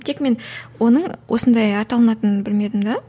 тек мен оның осындай аталынатынын білмедім де